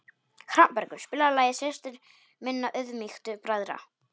Hrafnbergur, spilaðu lagið „Systir minna auðmýktu bræðra“.